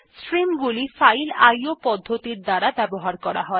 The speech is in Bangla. স্ট্রিম গুলি ফাইল আইও পদ্ধতির দ্বারা ব্যবহার করা হয়